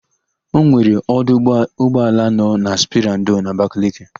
Enwere ọdụ ụgbọala nọ na sperandio n'Abakaliki.